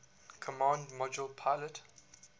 command module pilot